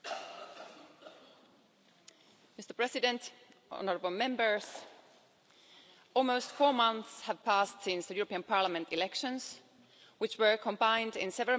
Mr President, honourable Members, almost four months have passed since the European Parliament elections, which were combined in several Member States with other elections.